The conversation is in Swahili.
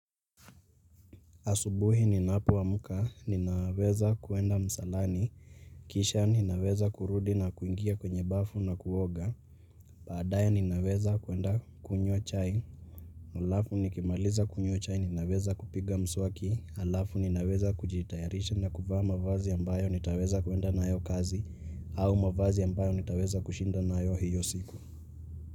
Asubuhi ni napo amka, ninaweza kuenda msalani, kisha ninaweza kurudi na kuingia kwenye bafu na kuoga, baadaye ninaweza kuenda kunywa chai alafu nikimaliza kunywa chai ninaweza kupiga mswaki, alafu ninaweza kujitayarisha na kuvaa mavazi ambayo nitaweza kuenda nayo kazi au mavazi ambayo nitaweza kushinda na yo hiyo siku.